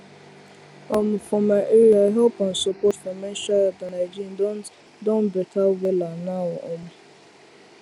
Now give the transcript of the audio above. um for my area help and support for menstrual health and hygiene don better wella now um